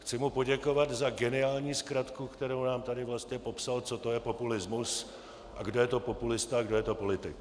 Chci mu poděkovat za geniální zkratku, kterou nám tady vlastně popsal, co to je populismus a kdo je to populista a kdo je to politik.